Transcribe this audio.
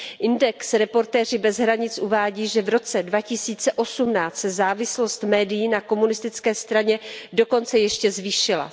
Index Reportéři bez hranic uvádí, že v roce 2018 se závislost médií na komunistické straně dokonce ještě zvýšila.